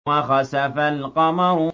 وَخَسَفَ الْقَمَرُ